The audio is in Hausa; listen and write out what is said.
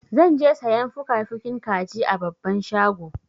Zan je sayan fukafukin kaji a babban shago.